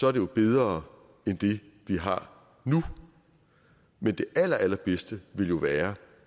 er det bedre end det vi har nu men det allerallerbedste ville jo være